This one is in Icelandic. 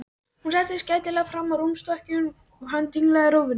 Hún settist gætilega fram á rúmstokkinn og hann dinglaði rófunni.